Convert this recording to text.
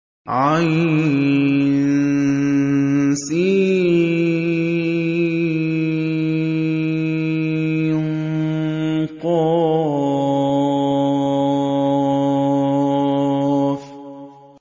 عسق